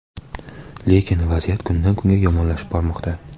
Lekin vaziyat kundan-kunga yomonlashib bormoqda.